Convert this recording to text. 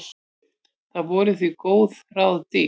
Það voru því góð ráð dýr.